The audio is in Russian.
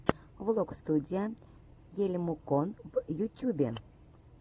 влог студия ельмукон в ютюбе